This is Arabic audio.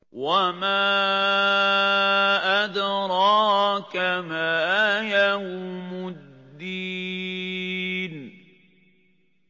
وَمَا أَدْرَاكَ مَا يَوْمُ الدِّينِ